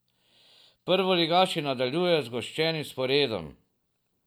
Prvoligaši nadaljujejo z zgoščenim sporedom.